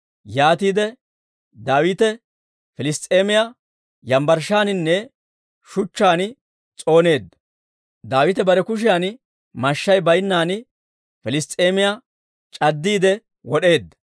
Yaatiide Daawite Piliss's'eemiyaa yambbarshshaaninne shuchchaan s'ooneedda. Daawite bare kushiyan mashshay baynnan Piliss's'eemiyaa c'addiide wod'eedda.